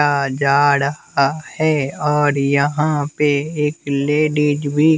जा रहा है और यहां पे एक लेडिज भी--